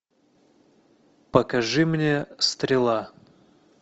покажи мне стрела